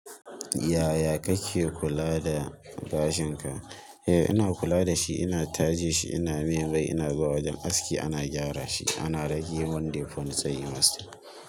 Yaya kake kula da gashin ka? Eh ina kula da shi, ina taje shi, ina miya mai, ina zuwa wajen aski ana gyara shi, ana rage mun defon tsayi master.